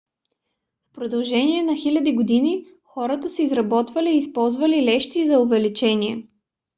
в продължение на хиляди години хората са изработвали и използвали лещи за увеличение